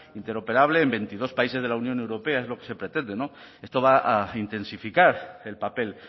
interoperable en veintidós países de la unión europea es lo que se pretende esto va a intensificar el papel